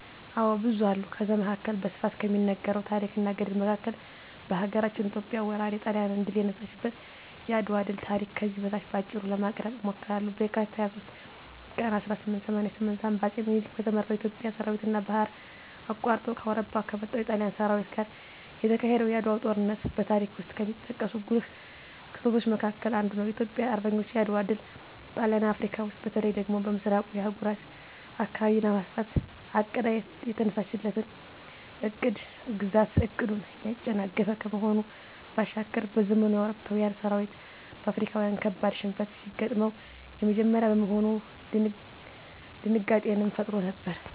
አዎ ብዙ አሉ ከዛ መካከል በስፋት ከሚነገረው ታረክ እና ገድል መካከል ሀገራችን ኢትዮጵያ ወራሪ ጣሊያንን ድል የነሳችበት የአድዋ ድል ታሪክ ከዚህ በታች በአጭሩ ለማቅረብ እሞክራለሁ፦ በካቲት 23 ቀን 1888 ዓ.ም በአጼ ምኒልክ በተመራው የኢትዮጵያ ሠራዊትና ባህር አቋርጦ ከአውሮፓ ከመጣው የጣሊያን ሠራዊት ጋር የተካሄደው የዓድዋው ጦርነት በታሪክ ውስጥ ከሚጠቀሱ ጉልህ ክስተቶች መካከል አንዱ ነው። የኢትዮጵያ አርበኞች የዓድዋ ድል ጣሊያን አፍረካ ውስጥ በተለይ ደግሞ በምሥራቁ የአህጉሪቱ አካባቢ ለማስፋፋት አቅዳ የተነሳችለትን የቅኝ ግዛት ዕቅድን ያጨናገፈ ከመሆኑ ባሻገር፤ በዘመኑ የአውሮፓዊያን ሠራዊት በአፍሪካዊያን ካበድ ሽንፈት ሲገጥመው የመጀመሪያ በመሆኑ ድንጋጤንም ፈጥሮ ነበር።